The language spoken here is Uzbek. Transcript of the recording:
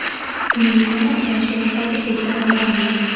Uning aniq yoshi hozirgacha noma’lum.